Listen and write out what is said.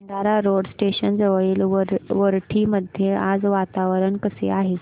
Bhandara road station जवळील वरठी मध्ये आज वातावरण कसे आहे